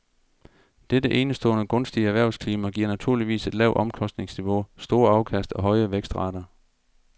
Dette enestående gunstige erhvervsklima giver naturligvis et lavt omkostningsniveau, store afkast og høje vækstrater.